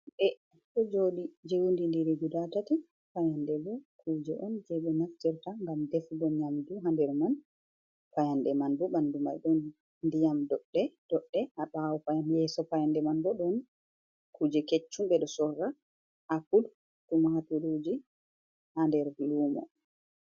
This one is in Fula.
...ɗe, ɗo jooɗi jewundindiri guda tati. Payanɗe bo kuje on je ɓe naftirta ngam defugo nyamdu ha nder man. Payanɗe man bo ɓandu man ɗon ndiyam doɗɗe-doɗɗe ha ɓawo payanɗe. Yeeso payanɗe man bo ɗon kuje keccum ɓe ɗo sorra apul, tumaturji ha nder lumo.